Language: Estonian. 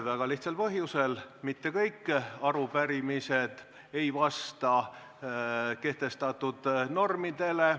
Väga lihtsal põhjusel: mitte kõik arupärimised ei vasta kehtestatud normidele.